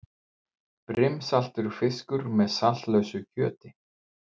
Brimsaltur fiskur með saltlausu kjöti.